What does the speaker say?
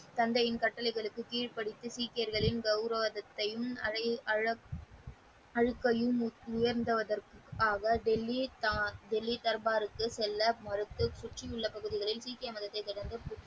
தந்தையின் கட்டளைகளுக்கு கீழ்ப்படிந்து சீக்கியர்களின் கவுரவத்த வாழ்க்கையும் உயர்த்துவதற்காக டெல்லி டெல்லி தர்பாருக்கு செல்ல மறுத்து சுற்றியுள்ள பகுதிகளில் சீக்கிய மதத்த ,